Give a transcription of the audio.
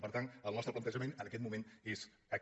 per tant el nostre plantejament en aquest mo·ment és aquest